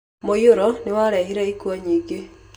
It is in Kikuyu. Mũiyũro nĩ warehire ikuũ nyingĩ.